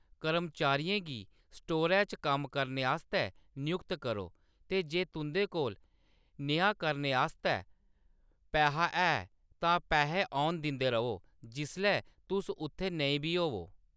कर्मचारियें गी स्टोरै च कम्म करने आस्तै नयुक्त करो ते जे तुंʼदे कोल नेहा करने आस्तै पैहा ऐ तां पैहे औन दिंदे र'वो जिसलै तुस उत्थै नेईं बी होवो।